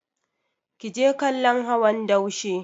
Ki je kallon hawan daushe!